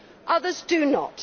others do not.